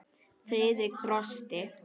Friðrik brosti.